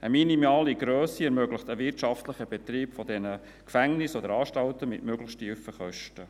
Eine minimale Grösse ermöglicht einen wirtschaftlichen Betrieb dieser Gefängnisse oder Anstalten mit möglichst tiefen Kosten.